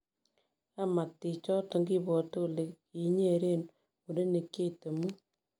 Kmatakik choton kibwate kole kikinyeren murenik cheite muut